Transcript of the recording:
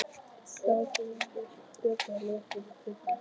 Í dag geymumst við á böndum, ljósmyndum, kvikmyndum.